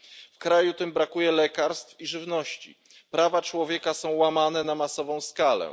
W kraju tym brakuje lekarstw i żywności, prawa człowieka są łamane na masową skalę.